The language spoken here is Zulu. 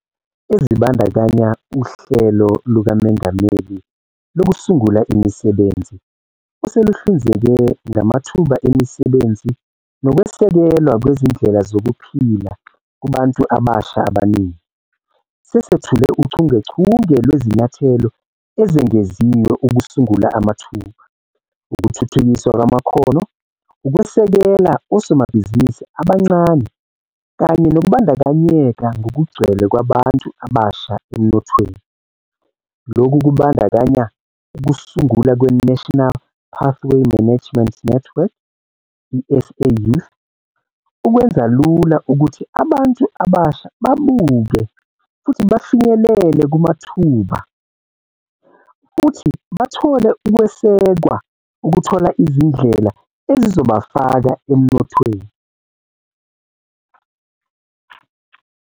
Ezibandakanya uHlelo lukaMongameli Lokusungula Imisebenzi, oseluhlinzeke ngamathuba emisebenzi nokwesekelwa kwezindlela zokuphila kubantu abasha abaningi. Sesethule uchungechunge lwezinyathelo ezengeziwe ukusungula amathuba, ukuthuthukiswa kwamakhono, ukwesekela osomabhizinisi abancane kanye nokubandakanyeka ngokugcwele kwabantu abasha emnothweni. Lokhu kubandakanya ukusungulwa kwe-National Pathway Management Network, i-SA Youth, ukwenza lula ukuthi abantu abasha babuke futhi bafinyelele kumathuba futhi bathole ukwesekwa ukuthola izindlela ezizobafaka emnothweni.